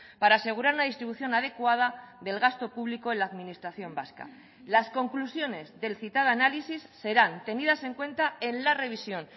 para asegurar la distribución adecuada del gasto público en la administración vasca las conclusiones del citado análisis serán tenidas en cuenta en la revisión